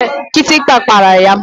Kịtịkpa gbara ya.